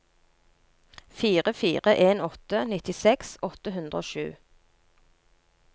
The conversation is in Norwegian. fire fire en åtte nittiseks åtte hundre og sju